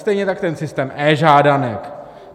Stejně tak systém e-žádanek.